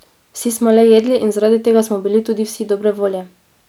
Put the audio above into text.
Vsi smo le jedli in zaradi tega smo bili tudi vsi dobre volje!